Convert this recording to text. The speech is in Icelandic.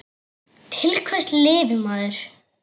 Til hvers lifir maður?